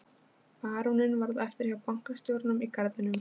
Baróninn varð eftir hjá bankastjóranum í garðinum.